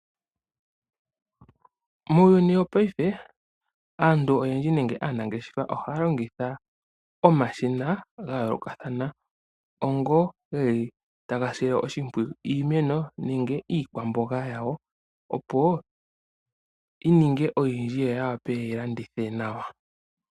Muuyuni wopaife aantu oyendji nenge aanangeshefa ohaya longitha omashina ga yoolokathana onga ge li taga sile iimeno nenge iikwamboga yawo oshimpwiyu, opo yi ninge oyindji yo ya wape ye yi landithe nawa.